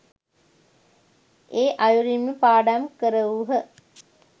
ඒ අයුරින්ම පාඩම් කරවූහ